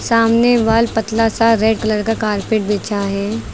सामने वाल पतला सा रेड कलर का कारपेट बिछा है।